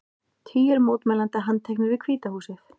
Tugir mótmælenda handteknir við Hvíta húsið